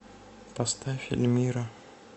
поставь эльмира